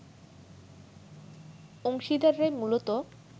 অংশীদাররাই মূলত